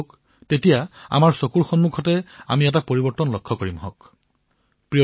আপোনালোকে দেখিব আপোনালোকৰ চকুৰ সন্মুখতেই আমি পৰিৱৰ্তন দেখিবলৈ পাম